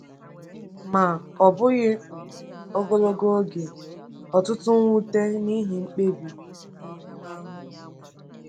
Ma, ọ bụghị um ogologo oge, ọtụtụ nwute n’ihi mkpebi um ahụ.